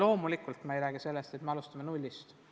Loomulikult me ei räägi sellest, et me alustame nullist.